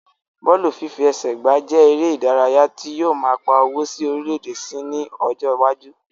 Bọ́ọ̀lù fífi ẹsẹ gbà jẹ èrè ìdárayá tí yóò máa pà owó sí orílè èdè síi ní ọjọ iwájú